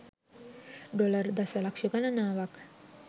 dollar දශලක්ෂ ගණනාවක්